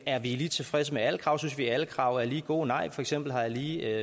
er vi lige tilfredse med alle krav synes vi alle krav er lige gode nej for eksempel har jeg lige